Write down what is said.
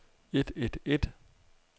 et et et